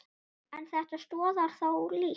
En þetta stoðar þó lítt.